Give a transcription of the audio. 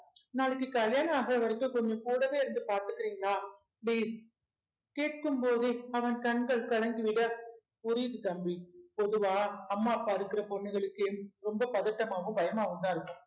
நாளைக்கு கல்யாணம் ஆகுற வரைக்கும் கொஞ்சம் கூடவே இருந்து பார்த்துக்கிறீங்களா please கேட்கும்போதே அவன் கண்கள் கலங்கி விட புரியுது தம்பி பொதுவா அம்மா அப்பா இருக்கிற பொண்ணுகளுக்கு ரொம்ப பதட்டமாவும் பயமாவும்தான் இருக்கும்